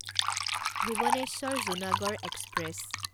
Bhubaneswar Junagarh express